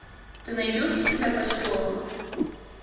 ты найдешь у себя поселок